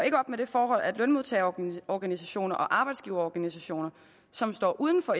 op med det forhold at lønmodtagerorganisationer og arbejdsgiverorganisationer som står uden for